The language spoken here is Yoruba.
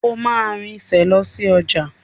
O máa rinsẹ̀ lọ sí ọjà.